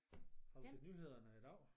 Har du set nyhederne i dag?